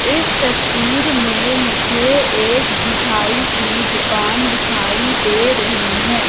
इस तस्वीर में मुझे एक मिठाई की दुकान दिखाई दे रही हैं।